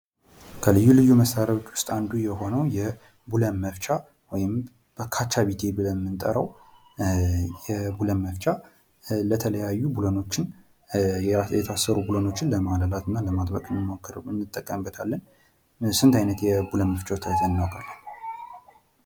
ከልዩ ልዩ መሳሪያዎች ዉስጥ አንዱ የሆነዉ ቡለን መፍቻ ወይም "ካቻቢቴ" ብለን የምንጠራዉ የቡለን መፍቻ ለተለያዩ ቡለኖችን የተሳሰሩ ቡለኖችን ለማላላት እና ለማጥበቅ እንጠቀምበታለን። ስንት አይነት የቡለን መፍቻዎች እናዉቃለን?